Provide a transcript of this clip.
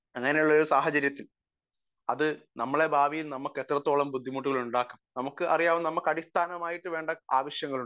speaker 1 അങ്ങനെയുള്ള ഒരു സാഹചര്യത്തിൽ അത് നമ്മുടെ ഭാവിയിൽ നമ്മക്ക് എത്രത്തോളം ബുദ്ധിമുട്ടുകൾ ഉണ്ടാക്കും നമുക്ക് അറിയാം നമുക്ക് അടിസ്ഥാനമായിട്ട് വേണ്ട ആവശ്യങ്ങൾ ഉണ്ട്